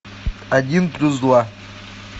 один плюс два